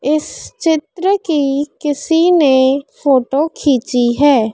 इस चित्र की किसी ने फोटो खींची है।